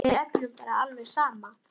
Útibúum hefur fækkað mjög.